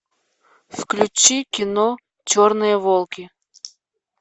включи кино черные волки